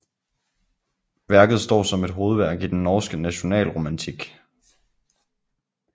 Værket står som et hovedværk i den norske nationalromantik